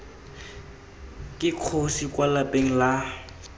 ke kgosi kwa lapeng la